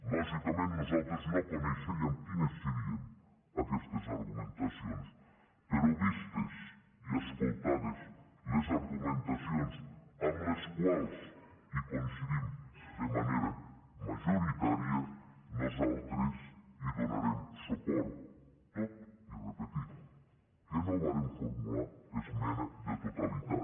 lògicament nosaltres no coneixíem quines serien aquestes argumentacions però vistes i escoltades les argumentacions amb les quals coincidim de manera majoritària nosaltres hi donarem suport tot i repetir que no vàrem formular esmena de totalitat